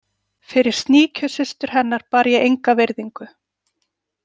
Fyrir sníkjusystur hennar bar ég enga virðingu.